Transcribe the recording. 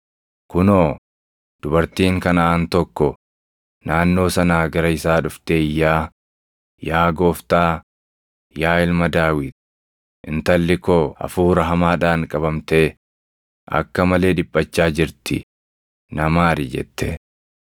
Kunoo, dubartiin Kanaʼaan tokko naannoo sanaa gara isaa dhuftee iyyaa, “Yaa Gooftaa, yaa Ilma Daawit, intalli koo hafuura hamaadhaan qabamtee akka malee dhiphachaa jirti; na maari!” jette.